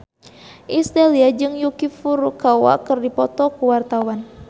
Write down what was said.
Iis Dahlia jeung Yuki Furukawa keur dipoto ku wartawan